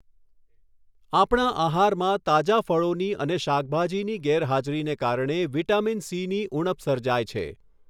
આપણા આહારમાં તાજા ફ્ળોની અને શાકભાજીની ગેરહાજરીને કારણે વિટામિન સીની ઉણપ સર્જાય છે.